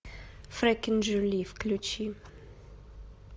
фрекен жюли включи